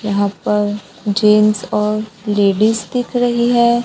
यहां पर जेंट्स और लेडीज दिख रही है।